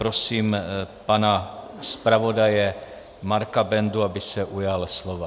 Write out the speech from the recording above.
Prosím pana zpravodaje Marka Bendu, aby se ujal slova.